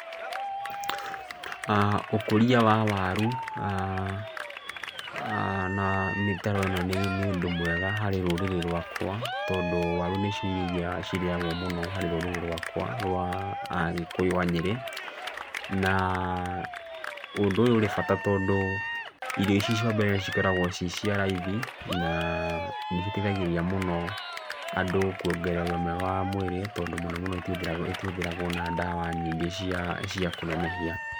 Haha ũkũria wa waru, na mĩtaro ĩno nĩ ũndũ mwega harĩ rũrĩrĩ rwakwa, tondũ waru nĩcio irio iria cirĩagwo mũno harĩ rũrĩrĩ rwakwa rwa Agĩkũyũ a Nyĩrĩ. Na ũndũ ũyũ ũrĩ bata tondũ irio ici cia mbere cikoragwo ci cia raithi, naa nĩciteithagĩrĩria mũno andũ kuongerera ũgima mwega wa mwĩrĩ, tondũ mũno mũno itihũthĩragwo itihũthĩragwo na ndawa nyingĩ cia cia kũnenehia.